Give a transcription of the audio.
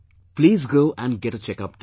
Please go and get a checkup done